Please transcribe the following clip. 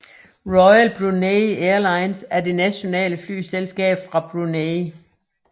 Royal Brunei Airlines er det nationale flyselskab fra Brunei